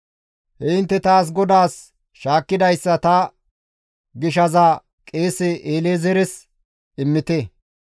He intte taas GODAAS shaakkidayssa ta gishaza qeese El7ezeeres immite.